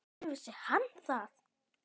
Hvenær vissi hann það?